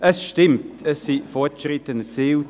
Es stimmt, es wurden Fortschritte erzielt.